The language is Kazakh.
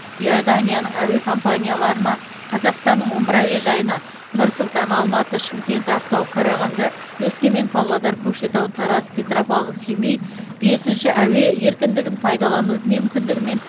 иорданияның әуе компанияларына қазақстанның он бір әуежайына нұр сұлтан алматы шымкент ақтау қарағанды өскемен павлодар көкшетау тараз петропавл семей бесінші әуе еркіндігін пайдалану мүмкіндігімен